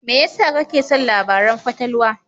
Me yasa kake son labaran fatalwa?